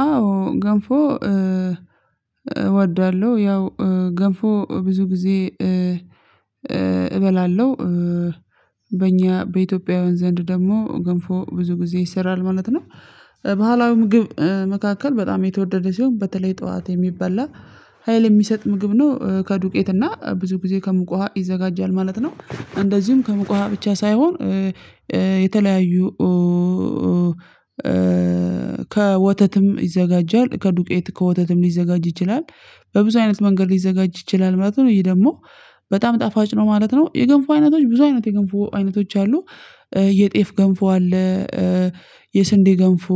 አዎ ገንፎ እወዳለሁ። ያው ገንፎ ብዙ ጊዜ እበላለሁ በእኛ በኢትዮጵያዉያን ዘንድ ደግሞ ገንፎ ብዙ ጊዜ ይሰራል ማለት ነው። ባህላዊ ምግብ መካከል በጣም የተወደደ ሲሆን በተለይ ጠዋት የሚበላ ሀይል የሚሰጥ ምግብ ነው ከዱቄት እና ብዙ ጊዜ ከሙቅ ውሃ ይዘጋጃል ማለት ነው። እንደዚሁም ከሙቅ ውሃ ብቻ ሳይሆን የተለያዩ ከወተትም ይዘጋጃል ከዱቄት ከወተትም ሊዘጋጅ ይችላል በብዙ አይነት መንገድ ሊዘጋጅ ይችላል ማለት ነው። ይህ ደግሞ በጣም ጣፋጭ ነው ማለት ነው። የገንፉ አይነቶች ብዙ አይነት የገንፉ አይነቶች አሉ። የጤፍ ገንፎ አለ። የስንዴ ገንፎ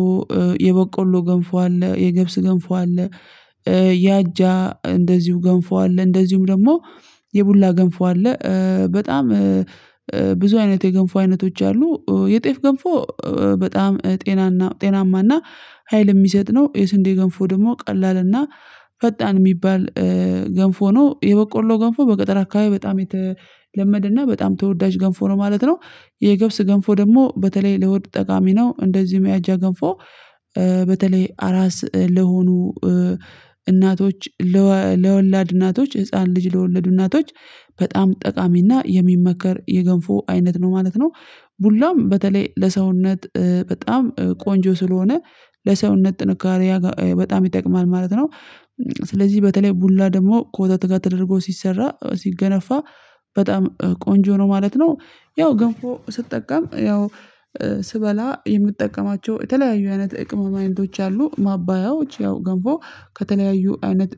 የበቆሎ ገንፎ አለ የገብስ ገንፎ አለ። ያጃ እንደዚሁ ገንፎ አለ እንደዚሁም ደግሞ የቡላ ገንፎ አለ። በጣም ብዙ አይነት የገንፎ አይነቶች አሉ የጤፍ ገንፎ በጣም ጤናና ጤናማና ሀይል የሚሰጥ ነው። የስንዴ ገንፎ ደግሞ ቀላልና ፈጣን የሚባል ገንፎ ነው። የበቆሎ ገንፎ በገጠር አካባቢ በጣም የተለመደ እና በጣም ተወዳጅ ገንፎ ነው ማለት ነው። የገብስ ገንፎ ደግሞ በተለይ ለሆድ ጠቃሚ ነው እንደዚሁም የአጃ ገንፎ። በተለይ አራስ ለሆኑ እናቶች ለወላድ እናቶች ህፃን ልጅ ለወለዱ እናቶች በጣም ጠቃሚና የሚመከር የገንፎ አይነት ነው ማለት ነው። ቡላም በተለይ ለሰውነት በጣም ቆንጆ ስለሆነ ለሰውነት ጥንካሬ በጣም ይጠቅማል ማለት ነው። ስለዚህ በተለይ ቡላ ደግሞ ከወተት ጋር ተደርጎ ሲሰራ ሲገነፋ በጣም ቆንጆ ነው ማለት ነው። ያው ገንፎ ስጠቀም ያው ስበላ የምጠቀማቸው የተለያዩ አይነት የቅመም አይነቶች አሉ ማባያዎች ያው ገንፎ ከተለያዩ አይነት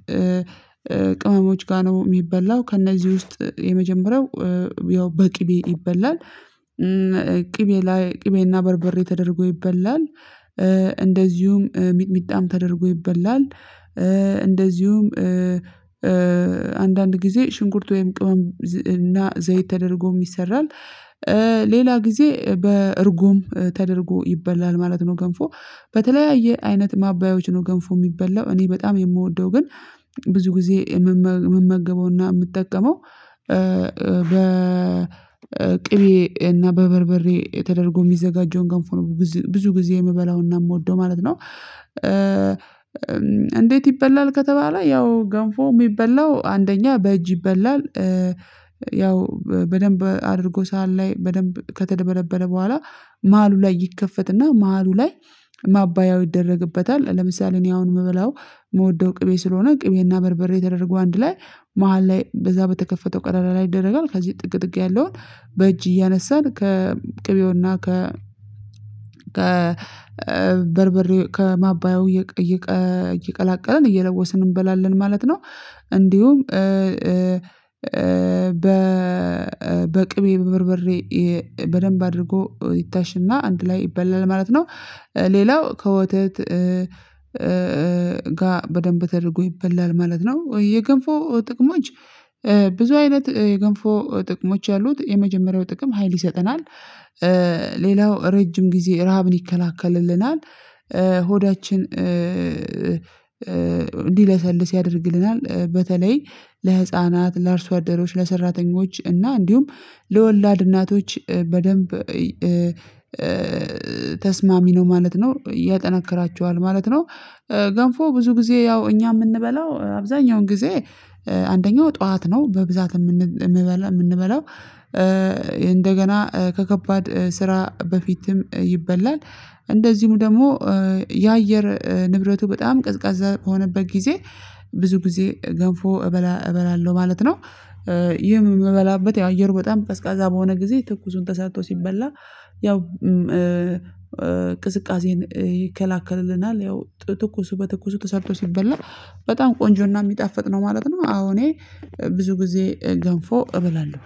ቅመሞች ጋር ነው የሚበላው ከእነዚህ ውስጥ የመጀመሪያው ያው በቅቤ ይበላል። ቅቤ ላይ ቅቤና በርበሬ ተደርጎ ይበላል። እንደዚሁም ሚጥሚጣም ተደርጎ ይበላል። እንደዚሁም አንዳንድ ጊዜ ሽንኩርት ወይም ቅመም እና ዘይት ተደርጎም ይሰራል። ሌላ ጊዜ በእርጎም ተደርጎ ይበላል ማለት ነው። ገንፎ በተለያየ አይነት ማባዮች ነው ገንፎ የሚበላው እኔ በጣም የምወደው ግን ብዙ ጊዜ የምመገበውና የምጠቀመው በ በቅቤ እና በበርበሬ ተደረጎ የሚዘጋጀውን ገንፎ ብዙ ጊዜ የምበላውና የምወደው ማለት ነው። እንዴት ይበላል ከተባለ ያው ገንፎ የሚበላው አንደኛ በእጅ ይበላል። ያው በደንብ አድርጎ ሰሃን ላይ በደንብ ከተድበለበለ በኋላ ማሀሉ ላይ ይከፈትና ማሀሉ ላይ ማባያው ይደረግበታል ለምሳሌ እኔ አሁን የምበላው የምወደው ቅቤ ስለሆነ ቅቤና በርበሬ ተደረጎ አንድ ላይ መሃል ላይ በዛ በተከፈተው ቀዳዳ ላይ ይደረጋል ከዚህ ጥግጥግ ያለውን በእጅ እያነሳን ከቅቤውና ከ ከበርበሬው ከማባየው እየቀላቀለን እየለወስን እንበላለን ማለት ነው። እንዲሁም በቅቤ በበርበሬ በደንብ አድርጎ ይታሽና አንድ ላይ ይበላል ማለት ነው። ሌላው ከወተት ጋር በደንብ ተደርጎ ይበላል ማለት ነው። የገንፎ ጥቅሞች ብዙ አይነት የገንፎ ጥቅሞች አሉት የመጀመሪያው ጥቅም ሀይል ይሰጠናል። ሌላው ረጅም ጊዜ ረሃብን ይከላከልልናል። ሆዳችን እንዲለሰልስ ያደርግልናል በተለይ ለህፃናት ለአርሶ አደሮች ለሰራተኞች እና እንዲሁም ለወላድ እናቶች በደንብ ተስማሚ ነው ማለት ነው ያጠናክራቸዋል ማለት ነው። ገንፎ ብዙ ጊዜ ያው እኛ የምንበላው አብዛኛውን ጊዜ አንደኛው ጠዋት ነው በብዛት የምንበላው እንደገና ከከባድ ስራ በፊትም ይበላል። እንደዚሁም ደግሞ የአየር ንብረቱ በጣም ቀዝቃዛ በሆነበት ጊዜ ብዙ ጊዜ ገንፎ እበላ እበላለሁ ማለት ነው። ይህም የምበላበት ያው አየር በጣም ቀዝቃዛ በሆነ ጊዜ ትኩሱን ተሰርቶ ሲበላ ያው ቅዝቃዜን ይከላከልናል ያው ትኩሱ በትኩሱ ተሰርቶ ሲበላ በጣም ቆንጆና የሚጣፍጥ ነው ማለት ነው። አዎ እኔ ብዙ ጊዜ ገንፎ እበላለሁ።